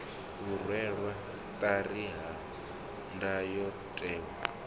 u rwelwa ṱari ha ndayotewa